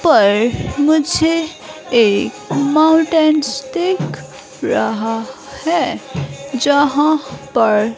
पर मुझे एक माउंटेन्स दिख रहा है यहाँ पर--